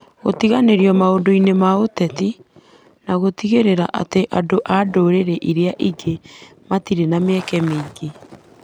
Gũtiganĩrio maũndũ-inĩ ma ũteti, na gũtigĩrĩra atĩ andũ a ndũrĩrĩ iria ingĩ matirĩ na mĩeke mĩingĩ.